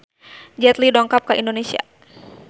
Jet Li dongkap ka Indonesia